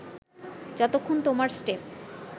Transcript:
যতক্ষণ তোমার স্টেপ